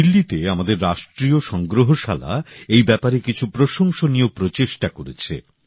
দিল্লীতে আমাদের রাষ্ট্রীয় সংগ্রহশালা এই ব্যাপারে কিছু প্রশংসনীয় উদ্যোগ নিয়েছে